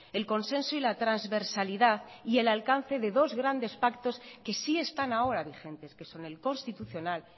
el consenso y la transversalidad y el alcance de dos grandes pactos que sí están ahora vigentes que son el constitucional